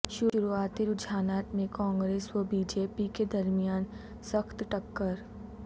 شروعاتی رجحانات میں کانگریس و بی جے پی کے درمیان سخت ٹکر